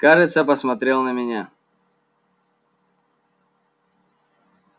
кажется посмотрел на меня